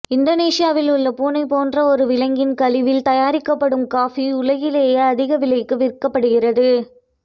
இந்தோனேசியாவில் உள்ள பூனை போன்ற ஒரு விலங்கின் கழிவில் தயாரிக்கப்படும் காஃபி உலகிலேயே அதிக விலைக்கு விற்கப்படுகிறது